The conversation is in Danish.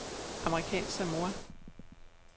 Amerikansk Samoa